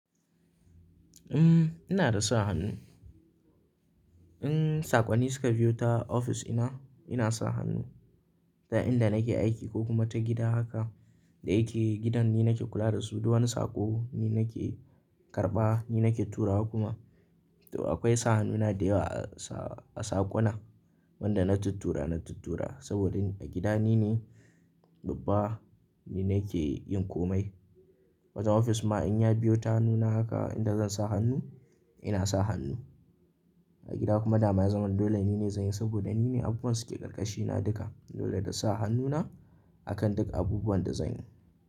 Umm, ina da sa hannu. In sakonni suka biyo ta ofis ina, ina sa hannu. Ta inda nake aiki ko kuma ta gida haka, da yake gidan ni nake kula da su, duk wani saƙo ni nake karɓa, ni nake turawa kuma. To akwai sa hannuna da yawa a saƙuna. Wanda na tuttura na tuttura saboda a gida nine babba, ni nake yin komai. Wajen ofis ma in ya biyo ta hannuna haka, idan zan sa hannu ina sa hannu. A gida kuma dama ya zama dole nine zan yi saboda nine abubuwan suke ƙarƙashina duka. Dole da sa hannuna akan duk abubuwan da zan yi.